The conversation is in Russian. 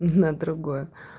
на другое